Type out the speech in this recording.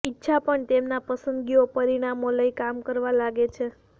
ઈચ્છા પણ તેમના પસંદગીઓ પરિણામો લઈ કામ કરવા લાગે છે